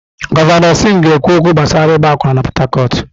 Gọvanọ Sim ga-ekwu okwu gbasara ịgba akwụna na Port Harcourt.